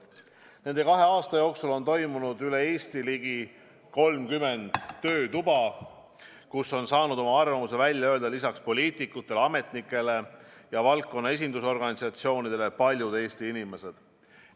Nende kahe aasta jooksul on toimunud üle Eesti ligi 30 töötuba, kus on saanud oma arvamuse välja öelda lisaks poliitikutele, ametnikele ja valdkonna esindusorganisatsioonidele ka paljud teised Eesti inimesed.